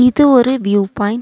இது ஒரு view point .